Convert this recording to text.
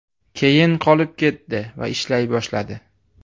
Keyin qolib ketdi va ishlay boshladi.